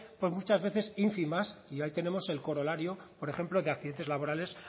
pues muchas veces ínfimas y ahí tenemos el corolario por ejemplo de accidentes laborales